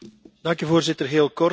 Voorzitter, heel kort.